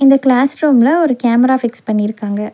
இந்த கிளாஸ் ரூம்ல ஒரு கேமரா ஃபிக்ஸ் பண்ணிருக்காங்க.